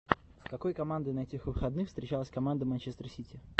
с какой командой на этих выходных встречалась команда манчестер сити